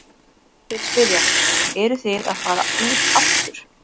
Þeir spyrja, eruð þið að fara út aftur?